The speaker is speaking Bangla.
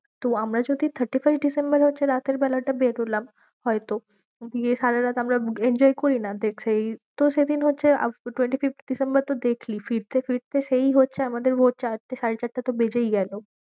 তো আমরা যদি thirty-first ডিসেম্বর হচ্ছে রাতের বেলা টা বেরোলাম হয়ত। দিয়ে সারা রাত আমরা enjoy করিনা? দেখ সেই তো সেদিন হচ্ছে twenty-fifth ডিসেম্বর তো দেখলি ফিরতে ফিরতে সেই হচ্ছে ভোর চারটে সাড়ে চারটে তো বেজেই গেলো।